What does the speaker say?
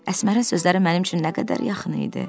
Əsmərin sözləri mənim üçün nə qədər yaxın idi.